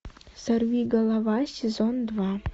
сорвиголова сезон два